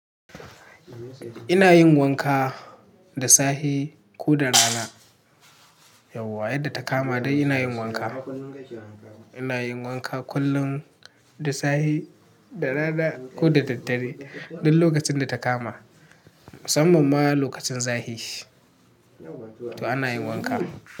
Ina yin wanka da safe ko da rana. Yauwa yadda ta kama dai ina yin wanka. Ina yin wanka kullum, da safe, da rana ko da daddare. Duk lokacin da ta kama, musamman ma lokacin zahi to ana yin wanka.